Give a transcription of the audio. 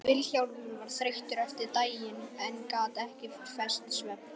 Vilhjálmur var þreyttur eftir daginn en gat ekki fest svefn.